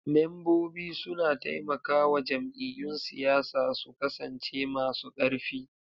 Membobi suna taimakawa jam'iyyun siyasa su kasance masu karfi.